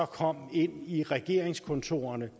kom ind i regeringskontorerne